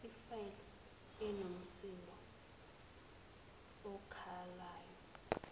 efile inomsindo okhalayo